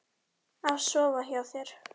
Af sofa hjá þér?